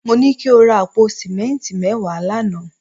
Mo ní kí o ra àpò sìmẹ́ǹtì mẹ́wàá lánàá